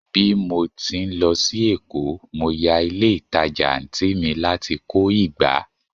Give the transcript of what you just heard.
bi mo ti n lo sí Èkó, mo ya ilé ìtajà anti mi lati ko ìgbá